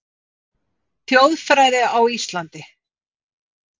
Þjóðfræði á Íslandi